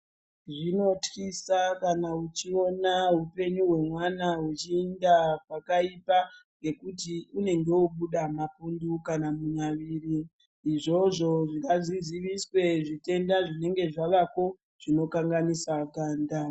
Zvinotyisa kana uchiona hupenyu hwemwana hwuchienda pakaipa ngekuti unenge wobuda mapundu kana munyaviri, izvozvo ngazviziviswe zvitenda zvinenge zvaveko zvinokanganisa ganda.